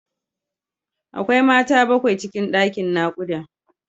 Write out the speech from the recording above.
Akwai Mata bakwai cikin ɗakin naƙuda.